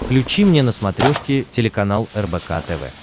включи мне на смотрешке телеканал рбк тв